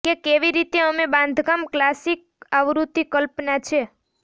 કે કેવી રીતે અમે બાંધકામ ક્લાસિક આવૃત્તિ કલ્પના છે